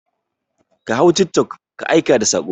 Ka hau tiktok ka aika da saƙo!